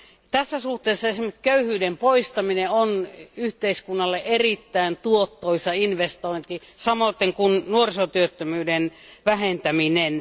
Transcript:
Tässä suhteessa esimerkiksi köyhyyden poistaminen on yhteiskunnalle erittäin tuottoisa investointi samoin kuin nuorisotyöttömyyden vähentäminen.